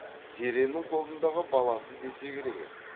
зеренің қолындағы баласы десе керек еді